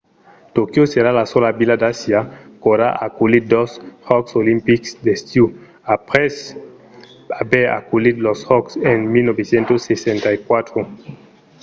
tòquio serà la sola vila d’asia qu’aurà aculhit dos jòcs olimpics d’estiu aprèp aver aculhit los jòcs en 1964